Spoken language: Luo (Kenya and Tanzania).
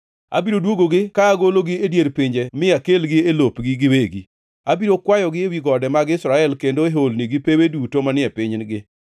Abiro dwogogi ka agologi e dier pinje mi akelgi e lopgi giwegi. Abiro kwayogi ewi gode mag Israel, kendo e holni gi pewe duto manie pinygi.